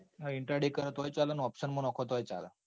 હા intraday કરે તોયે ચાલ ન option માં નોખો તોય ચાલ.